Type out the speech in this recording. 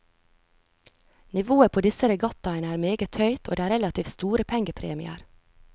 Nivået på disse regattaene er meget høyt og det er relativt store pengepremier.